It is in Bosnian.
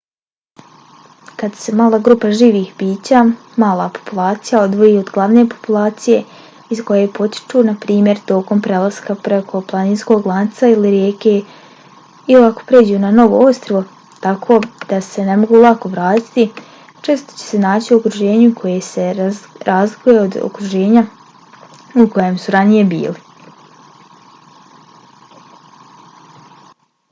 kad se mala grupa živih bića mala populacija odvoji od glavne populacije iz koje potiču naprimjer tokom prelaska preko planinskog lanca ili rijeke ili ako pređu na novo ostrvo tako da se ne mogu lako vratiti često će se naći u okruženju koje se razlikuje od okruženja u kojem su ranije bili